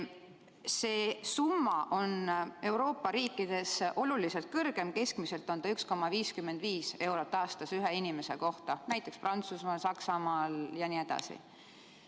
See summa on Euroopa riikides aga oluliselt kõrgem, keskmiselt 1,55 eurot aastas ühe inimese kohta, näiteks Prantsusmaal, Saksamaal jne.